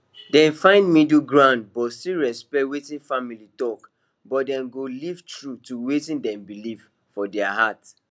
dem find middle ground but still respect wetin family talk but dem go live true to wetin dem believe for their heart